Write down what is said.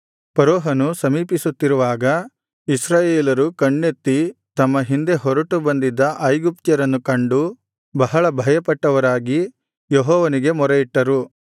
ಫರೋಹನು ಸಮೀಪಿಸುತ್ತಿರುವಾಗ ಇಸ್ರಾಯೇಲರು ಕಣ್ಣೆತ್ತಿ ತಮ್ಮ ಹಿಂದೆ ಹೊರಟು ಬಂದಿದ್ದ ಐಗುಪ್ತ್ಯರನ್ನು ಕಂಡು ಬಹಳ ಭಯಪಟ್ಟವರಾಗಿ ಯೆಹೋವನಿಗೆ ಮೊರೆಯಿಟ್ಟರು